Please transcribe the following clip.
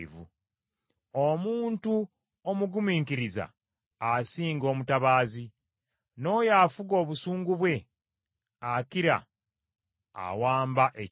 Omuntu omugumiikiriza asinga omutabaazi, n’oyo afuga obusungu bwe akira awamba ekibuga.